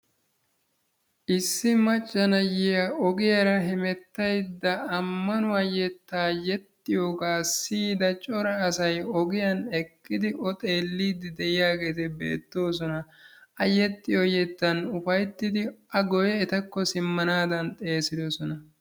Issi macca na'iyaa ogiyaara hemettayda ammanuwa yettaa yexxiyogaa siyida daro asay ogiyan eqqidi O xeelliidi de'iyageeti beettoosona. A yexxiyo yettan ufayttidi a guye etakko simanaadan xeesiddosona.